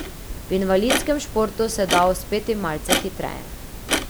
V invalidskem športu se da uspeti malce hitreje.